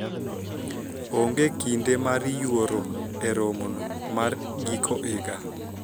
oonge kinde mar yuoro e romo no mar giko higa